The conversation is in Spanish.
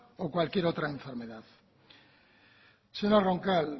o cualquier otra enfermedad señora roncal